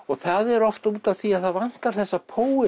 það er oft út af því að það vantar þessa